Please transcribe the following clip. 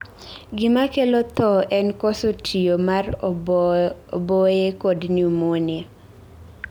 Gima kelo thoo en koso tiyo mar oboye kod pneumonia